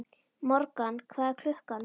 Morgan, hvað er klukkan?